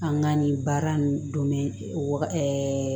An ka nin baara nin don mɛn waga